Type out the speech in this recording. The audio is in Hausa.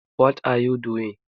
What are you doing?